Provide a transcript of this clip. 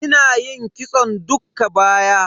Ina yin kitson dukka baya.